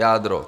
Jádro -